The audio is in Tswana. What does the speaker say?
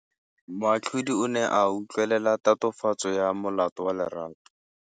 Moatlhodi o ne a utlwelela tatofatsô ya molato wa Lerato.